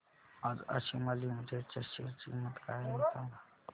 आज आशिमा लिमिटेड च्या शेअर ची किंमत काय आहे हे सांगा